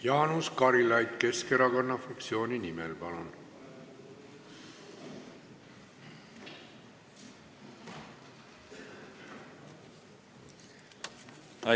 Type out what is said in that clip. Jaanus Karilaid Keskerakonna fraktsiooni nimel, palun!